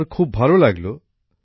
আমার খুব ভালো লাগলো